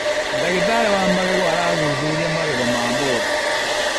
Ndagĩtarĩ wa magego arathuthuria magego ma mũndũ.